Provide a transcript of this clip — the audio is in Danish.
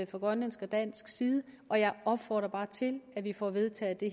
fra grønlandsk og dansk side og jeg opfordrer bare til at vi får vedtaget det